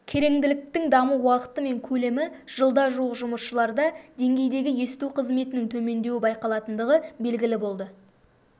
кереңділіктің даму уақыты мен көлемі жылда жуық жұмысшыларда деңгейдегі есту қызметінің төмендеуі байқалатындығы белгілі болды